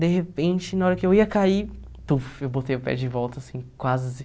De repente, na hora que eu ia cair, tuf, eu botei o pé de volta, assim, quase.